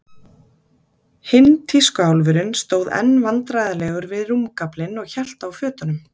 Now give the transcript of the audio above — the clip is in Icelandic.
Hinn tískuálfurinn stóð enn vandræðalegur við rúmgaflinn og hélt á fötunum.